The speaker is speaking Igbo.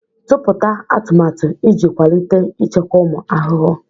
Tụpụta atụmatụ iji kwalite ichekwa ụmụ ahụhụ.